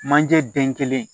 Manje den kelen